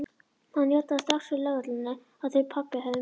Hann játaði strax fyrir lögreglunni að þeir pabbi hefðu misnotað